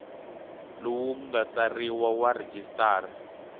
lowu nga tsariwa wa registrar